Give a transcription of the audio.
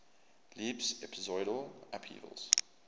leaps episodal upheavals